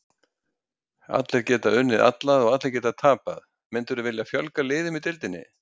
Allir geta unnið alla og allir geta tapað Myndirðu vilja fjölga liðum í deildinni?